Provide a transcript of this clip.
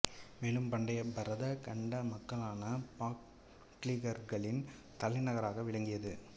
மேலும் பண்டைய பரத கண்ட மக்களான பாக்லீகர்களின் தலைநகராக விளங்கியது